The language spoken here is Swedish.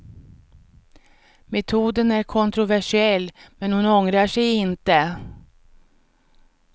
Metoden är kontroversiell, men hon ångrar sig inte.